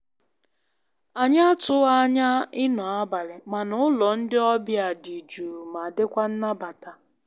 Anyị atụghị anya ịnọ abalị, mana ụlọ ndị ọbịa dị jụụ ma dịkwa nnabata.